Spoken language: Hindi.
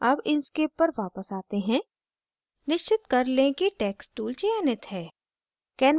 अब inkscape पर वापस आते हैं निश्चित कर लें कि text tool चयनित है